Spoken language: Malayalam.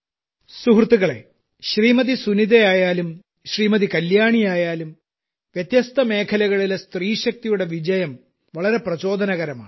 സുഹൃത്തുക്കളേ ശ്രീമതി സുനിതയായാലും ശ്രീമതി കല്യാണിയായാലും വ്യത്യസ്ത മേഖലകളിലെ സ്ത്രീശക്തിയുടെ വിജയം വളരെ പ്രചോദനകരമാണ്